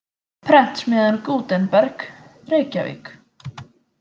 Prentsmiðjan Gutenberg, Reykjavík.